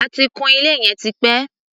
A ti kun ilé yìí tipẹ́.